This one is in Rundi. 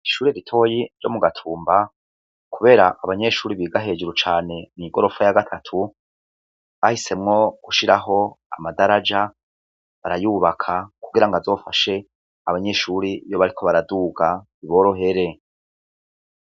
Ishuri ritoyi ryo mu gatumba, kubera abanyeshuri biga hejuru cane mw'igorofa ya gatatu bahisemwo gushiraho amadaraja barayubaka kugira ngo azofashe abanyeshuri yo bariko baraduga iborohere.